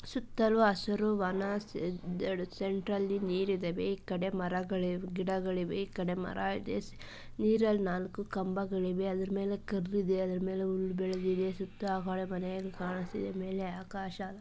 ಸುತ್ತಲು ಹಸಿರುವನ ವನ ಸೆಂಟ್ರಲ್ಲಿ ನೀರಿದೆ ಕಡೆ ಮರ ಗಿಡಗಳಿವೆ ಕಡೆ ಮರ ಇದೆ ನೀರಿದೆ ಮಾಲಕಂಬಗಳಿವೆ ಮೇಲೆ ಒಂದು ಕಲ್ಲಿದೆ ಮೇಲೆ ಆಕಾಶ ಕಾಣಿಸ್ತಾ ಇದೆ